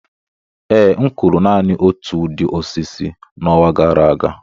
Ee, m kụrụ naanị otu ụdị osisi n'ọnwa gara aga